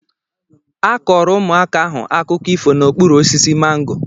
A kọọrọ ụmụaka ahụ akụkọ ifo n'okpuru osisi mango.